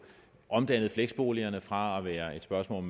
omdannet fleksboligerne fra at være spørgsmål